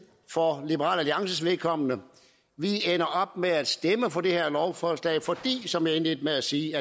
for liberal alliances vedkommende vi ender op med at stemme for det her lovforslag fordi der som jeg indledte med at sige